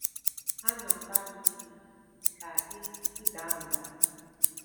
Hà na-agbalị ime ka ị ị daa mbà.